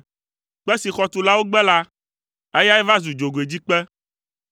Kpe si xɔtulawo gbe la, eyae va zu dzogoedzikpe.